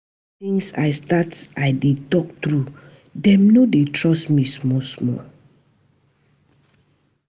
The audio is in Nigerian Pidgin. Since I start to dey tok truth, dem don dey trust me small-small.